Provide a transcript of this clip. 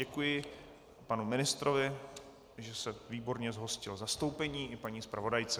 Děkuji panu ministrovi, že se výborně zhostil zastoupení, i paní zpravodajce.